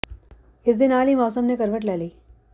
ਇਸ ਦੇ ਨਾਲ ਹੀ ਮੌਸਮ ਨੇ ਕਰਵਟ ਲੈ ਲਈ ਹੈ